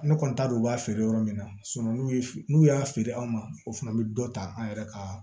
Ne kɔni t'a dɔn u b'a feere yɔrɔ min na n'u ye n'u y'a feere anw ma o fana bɛ dɔ ta an yɛrɛ ka